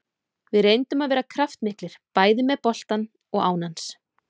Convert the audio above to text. Við reyndum að vera kraftmiklir, bæði með boltann og án hans.